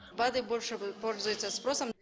бад ы больше пользуется спросом